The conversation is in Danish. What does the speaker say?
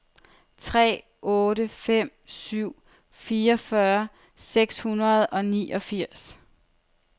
tre otte fem syv fireogfyrre seks hundrede og niogfirs